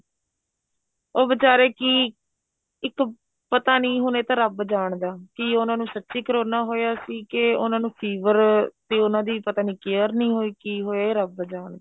ਉਹ ਵੀਚਾਰੇ ਕੀ ਇੱਕ ਪਤਾ ਨੀ ਇਹ ਤਾਂ ਰੱਬ ਜਾਣਦਾ ਕੀ ਉਹਨਾ ਨੂੰ ਸਚੀ ਕਰੋਨਾ ਹੋਇਆ ਸੀ ਕੇ ਉਹਨਾ ਨੂੰ fever ਤੇ ਉਹਨਾ ਦੀ ਪਤਾ ਨੀ care ਨੀ ਹੋਈ ਕੀ ਹੋਇਆ ਰੱਬ ਜਾਣਦਾ